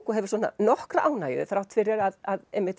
og hefur svona nokkra ánægju þrátt fyrir að